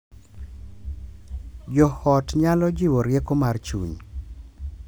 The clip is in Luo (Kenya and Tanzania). Jo ot nyalo jiwo rieko mar chuny